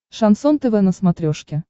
шансон тв на смотрешке